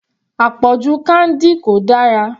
Àpọ̀jù candy kò dára.